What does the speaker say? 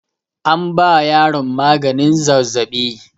An ba yaron maganin zazzaɓi.